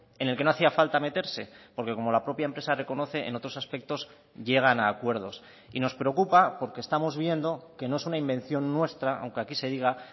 en el que no hacía falta meterse porque como la propia empresa reconoce en otros aspectos llegan a acuerdos y nos preocupa porque estamos viendo que no es una invención nuestra aunque aquí se diga